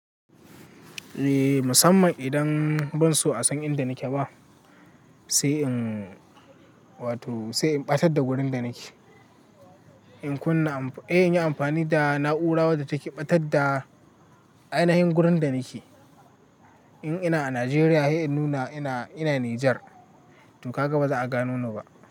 Eh, musamman idan ban so a san inda nake ba, sai in wato sai in ɓatar da wurin da nake. In kunna, sai inyi amfani da na'ura wadda take ɓatar da ainihin wurin da nake. In ina a Najeriya har in nuna ina, ina Nijar to haka ba za'a gano ni ba.